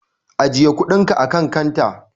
Ajiye kuɗinka akan kanta.